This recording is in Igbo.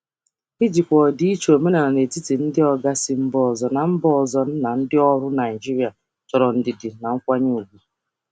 Ijikwa ọdịiche omenala n'etiti ndị oga si mba ọzọ na ndị ọrụ Naịjirịa chọrọ ndidi na nkwanye ùgwù.